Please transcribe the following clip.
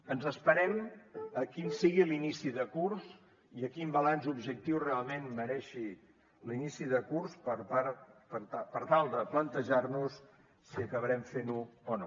ens esperem a quin sigui l’inici de curs i a quin balanç objectiu realment mereixi l’inici de curs per tal de plantejar nos si acabarem fent ho o no